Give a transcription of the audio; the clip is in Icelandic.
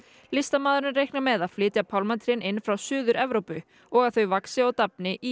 listamaðurinn reiknar með að flytja pálmatrén inn frá Suður Evrópu og að þau vaxi og dafni í